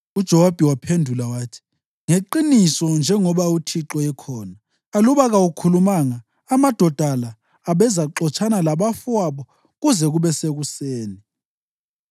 UJowabi waphendula wathi, “Ngeqiniso njengoba uNkulunkulu ekhona, aluba kawukhulumanga, amadoda la abezaxotshana labafowabo kuze kube sekuseni.”